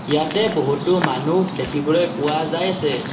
ইয়াতে বহুতো মানুহ দেখিবলৈ পোৱা যায় আছে।